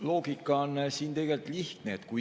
Loogika on siin tegelikult lihtne.